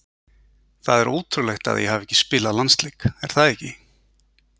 Það er ótrúlegt að ég hafi ekki spilað landsleik er það ekki?